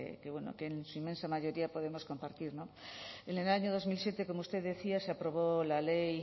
que bueno que en su inmensa mayoría podemos compartir en el año dos mil siete como usted decía se aprobó la ley